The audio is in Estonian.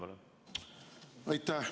Aitäh!